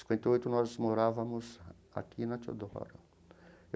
Cinquenta e oito, nós morávamos aqui, na Teodoro.